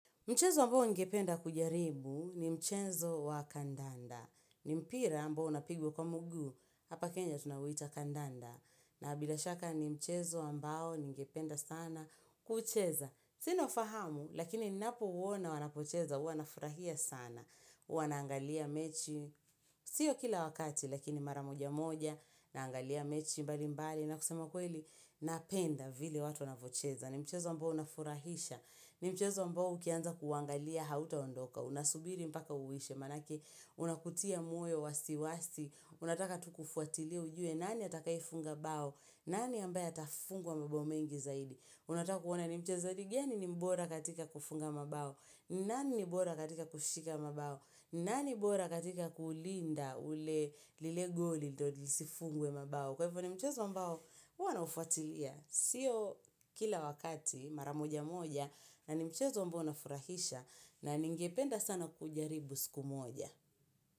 Mchezo ambao ningependa kujaribu ni mchezo wa kandanda. Ni mpira ambao unapigwa kwa mguu, hapa kenya tunauita kandanda. Na bila shaka ni mchezo ambao ningependa sana kucheza. Sina ufahamu, lakini ninapouona wanapocheza, hua nafurahia sana. Hua naangalia mechi, sio kila wakati, lakini mara moja moja, naangalia mechi mbali mbali, na kusema kweli, napenda vile watu wanavyocheza. Ni mchezo ambao unafurahisha. Ni mchezo ambao ukianza kuuangalia hautaondoka. Unasubiri mpaka uishe. Manake unakutia moyo wasi wasi. Unataka tu kufuatilia ujue nani atakayefunga bao. Nani ambaye atafungwa mabao mengi zaidi. Unataka kuona ni mchezaji gani ni mbora katika kufunga mbao. Nani ni mbora katika kushika mbao. Nani bora katika kulinda ule lile goli ndio lisifungwe mabao. Kwa hivyo ni mchezo ambao huwa naufuatilia, sio kila wakati mara moja moja na ni mchezo ambao unafurahisha na ningependa sana kuujaribu siku moja.